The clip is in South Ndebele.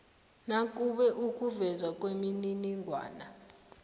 nakube ukuvezwa kwemininingwana